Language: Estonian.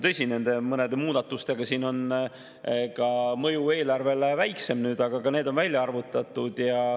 Tõsi, mõne muudatuse puhul on ka mõju eelarvele väiksem, aga ka see on välja arvutatud.